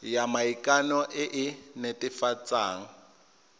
ya maikano e e netefatsang